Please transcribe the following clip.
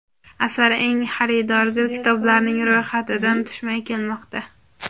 Asar eng xaridorgir kitoblarning ro‘yxatidan tushmay kelmoqda.